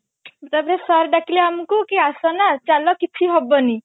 ତାପରେ sir ଡାକିଲେ ଆମକୁ କି ଆସନା ଚାଲ କିଛି ହବନି